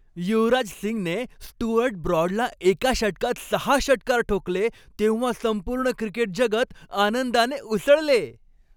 युवराज सिंगने स्टुअर्ट ब्रॉडला एका षटकात सहा षटकार ठोकले तेव्हा संपूर्ण क्रिकेट जगत आनंदाने उसळले.